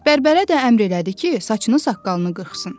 Bərbərə də əmr elədi ki, saçını saqqalını qırxsın.